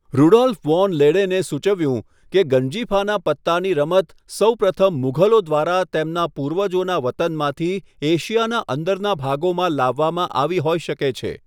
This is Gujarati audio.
રુડોલ્ફ વોન લેડેને સૂચવ્યું કે ગંજીફાનાં પત્તાની રમત સૌપ્રથમ મુઘલો દ્વારા તેમના પૂર્વજોના વતનમાંથી એશિયાનાં અંદરના ભાગોમાં લાવવામાં આવી હોઈ શકે છે.